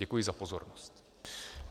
Děkuji za pozornost.